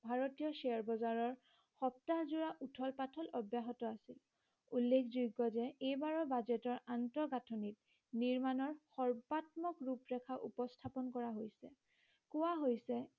ভাৰতীয় share বজাৰৰ সপ্তাহ যোৰা উথল পাথল অব্যাহত আছে । উল্লেখযোগ্য যে এইবাৰৰ বাজেটৰ আন্ত গাঁঠনিত নিৰ্মাণৰ সৰ্বাত্মক ৰূপৰেখা উপস্থাপন কৰা হৈছে। কোৱা হৈছে